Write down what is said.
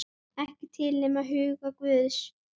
Ekki til nema í huga guðs.